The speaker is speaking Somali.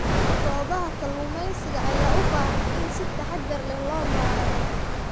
Goobaha kalluumeysiga ayaa u baahan in si taxadar leh loo maareeyo.